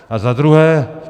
A za druhé.